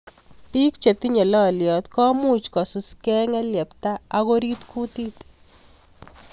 Bik che tinyei loliot komuch kosusukei ngeliepta ak orit kutit